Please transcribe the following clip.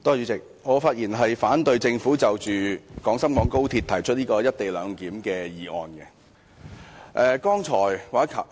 代理主席，我發言反對政府就廣深港高鐵"一地兩檢"提出的議案。